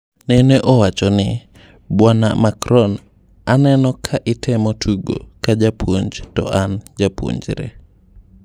Nene owacho:"Bwana Macron… aneno ka itemo tugo ka japuoj to an japuonjre.